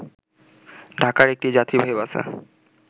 ঢাকায় একটি যাত্রীবাহী বাসে